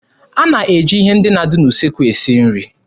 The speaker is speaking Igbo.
A na-eji ihe ndị na-adị n'usekwu esi nri.